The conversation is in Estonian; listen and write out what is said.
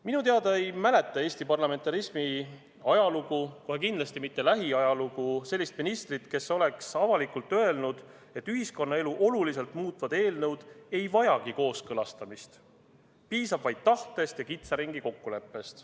Minu teada ei mäleta Eesti parlamentarismi ajalugu, kohe kindlasti mitte lähiajalugu, sellist ministrit, kes oleks avalikult öelnud, et ühiskonnaelu oluliselt muutvad eelnõud ei vajagi kooskõlastamist, piisab vaid tahtest ja kitsa ringi kokkuleppest.